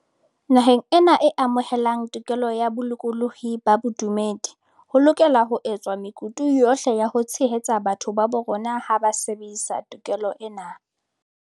Naheng ena e amohelang tokelo ya bolokolohi ba bodumedi, ho lokelwa ho etswa mekutu yohle ya ho tshehetsa batho ba bo rona ha ba sebedisa to kelo ena.